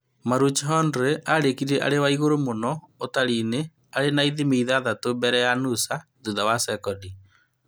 Maroochydore arĩkirie arĩ wa ĩguru mũno ũtarinĩ, arĩ na ithimi ithathatũ mbere ya Noosa thutha wa sekondi